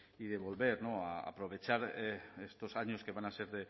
y de volver a aprovechar estos años que van a ser